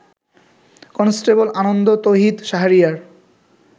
constable Anand, Tohid, Shahriar